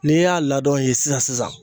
N'i y'a ladɔn yen sisan sisan